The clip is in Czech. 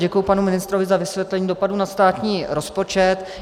Děkuji panu ministrovi za vysvětlení dopadu na státní rozpočet.